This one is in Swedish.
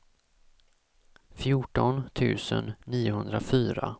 fjorton tusen niohundrafyra